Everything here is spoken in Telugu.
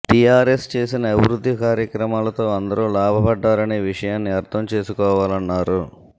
టీఆర్ఎస్ చేసిన అభివృద్ధి కార్యక్రమాలతో అందరూ లాభపడ్డారనే విషయాన్ని అర్థం చేసుకోవాలన్నారు